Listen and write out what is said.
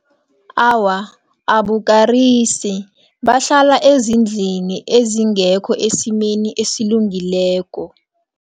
Awa, abukarisi. Bahlala ezindilini ezingekho esimeni esilungileko.